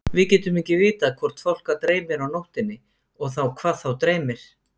Við getum ekki vitað hvort fálka dreymir á nóttunni og þá hvað þá dreymir.